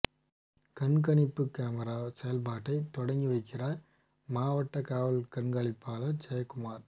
கண்காணிப்பு கேமரா செயல்பாட்டை தொடங்கி வைக்கிறாா் மாவட்ட காவல் கண்காணிப்பாளா் ஜெயகுமாா்